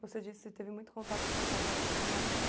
Você disse que você teve muito contato com seus avós quando era